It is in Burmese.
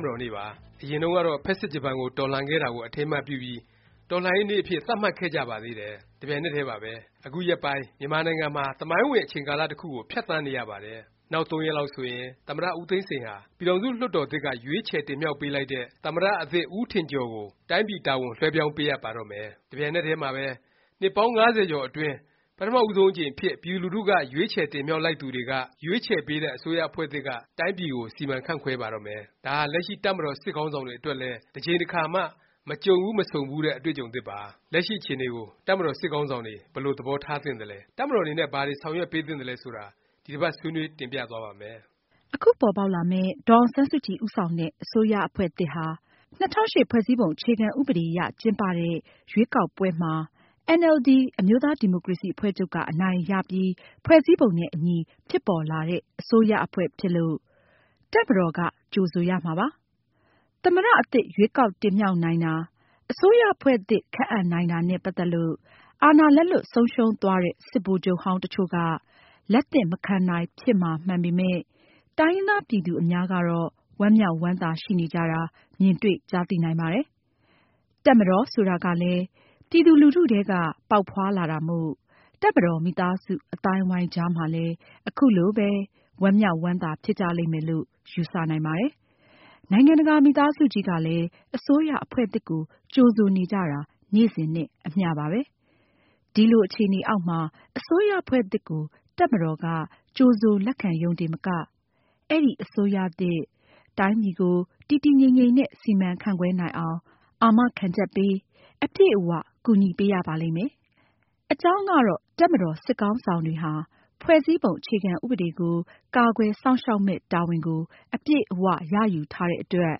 မတော်နေ့ပါ။ အရင်တုန်းကတော့ ဖက်ဆစ်ဂျပန်ကို တော်လှန်ခဲ့တာကို အထိမ်းအမှတ်ပြုပြီး တော်လှန်ရေးနေ့အဖြစ် သတ်မှတ်ခဲ့ကြပါသေးတယ်။ တစ်ပြိုင်နက်တည်းပါပဲ။ အခုရက်ပိုင်း မြန်မာနိုင်ငံမှာ သမိုင်းဝင် အချိန်ကာလ တစ်ခုကို ဖြတ်သန်းနေရပါတယ်။ နောက် သုံးရက်လောက်ဆိုရင် သမ္မတ ဦးသိန်းစိန်ဟာ ပြည်ထောင်စု လွှတ်တော်သစ်က ရွေးချယ်တင်မြှောက်ပေးလိုက်တဲ့ သမ္မတ အသစ် ဦးထင်ကျော်ကို တိုင်းပြည် တာဝန်လွဲှပြောင်း ပေးအပ်ပါတော့မယ်။ တစ်ပြိုင်နက်တည်းမှာပဲ နှစ်ပေါင်း ၅၀ ကျော်အတွင်း ပထမ ဦးဆုံးအကြိမ်အဖြစ် ပြည်သူလူထုက ရွေးချယ်တင်မြှောက်လိုက်သူတွေက ရွေးချယ်ပေးတဲ့ အစိုးရအဖွဲ့သစ်က တိုင်းပြည်ကို စီမံခန့်ခွဲပါတော့မယ်။ ဒါဟာ လက်ရှိ တပ်မတော် စစ်ခေါင်းဆောင်တွေအတွက်လည်း တစ်ကြိမ်တစ်ခါမှ မကြုံဘူး မဆုံဘူးတဲ့ အတွေ့အကြုံသစ်ပါ။ လက်ရှိ အခြေအနေကို တပ်မတော် စစ်ခေါင်းဆောင်တွေ ဘယ်လို သဘောထားသင့်သလဲ၊ တပ်မတော်အနေနဲ့ ဘာတွေ ဆောင်ရွက်ပေးသင့်သလဲ ဆိုတာ ဒီတစ်ပါတ် ဆွေးနွေး တင်ပြသွားပါ့မယ်။ အခုပေါ်ပေါက်လာမယ့် ဒေါ်အောင်ဆန်းစုကြည် ဦးဆောင်တဲ့ အစိုးရအဖွဲ့သစ်ဟာ ၂၀၀၈ ဖွဲ့စည်းပုံ အခြေခံဥပဒေအရ ကျင်းပတဲ့ ရွေးကောက်ပွဲမှာ အင်န်အယ်လ်ဒီ အမျိုးသားဒီမိုကရေစီ အဖွဲ့ချုပ်က အနိုင်ရပြီး ဖွဲ့စည်းပုံနဲ့အညီ ဖြစ်ပေါ်လာတဲ့ အစိုးရအဖွဲ့ ဖြစ်လို့ တပ်မတော်က ကြိုဆိုရမှာပါ။ သမ္မတ အသစ် ရွေးကောက်တင်မြှောက်နိုင်တာ၊ အစိုးရအဖွဲ့သစ် ခန့်အပ်နိုင်တာနဲ့ ပတ်သက်လို့ အာဏာလက်လွှတ် ဆုံးရှုံးသွားတဲ့ စစ်ဗိုလ်ချုပ်ဟောင်းတစ်ချို့က လက်သင့်မခံနိုင်ဖြစ်မှာ မှန်ပေမယ့် တိုင်းရင်းသား ပြည်သူအများကတော့ ဝမ်းမြောက်ဝမ်းသာ ရှိနေကြတာ မြင်တွေ့ကြားသိနိုင်ပါတယ်။ တပ်မတော် ဆိုတာကလည်း ပြည်သူလူထုထဲက ပေါက်ဖွားလာတာမို့ တပ်မတော် မိသားစု အသိုင်းအဝိုင်းကြားမှာလည်း အခုလိုပဲ ဝမ်းမြောက်ဝမ်းသာ ဖြစ်ကြလိမ့်မယ်လို့ ယူဆ နိုင်ပါတယ်။ နိုင်ငံတကာ မိသားစုကြီးကလည်း အစိုးရအဖွဲ့သစ်ကို ကြိုဆိုနေကြတာ နေ့စဉ်နဲ့ အမျှပါပဲ။ ဒီလို အခြေအနေအောက်မှာ အစိုးရအဖွဲ့သစ်ကို တပ်မတော်က ကြိုဆို လက်ခံယုံတင်မက၊ အဲဒီ အစိုးရသစ် တိုင်းပြည်ကို တည်တည်ငြိမ်ငြိမ်နဲ့ စီမံခန့်ခွဲ နိုင်အောင် အာမခံချက်ပေး၊ အပြည့်အ၀ ကူညီပေးရပါလိမ့်မယ်။ အကြောင်းကတော့ တပ်မတော် စစ်ခေါင်းဆောင်တွေဟာ ဖွဲ့စည်းပုံ အခြေခံဥပဒေကို ကာကွယ်စောင့်ရှောက်မယ့် တာဝန်ကို အပြည့်အ၀ ရယူထားတဲ့အတွက်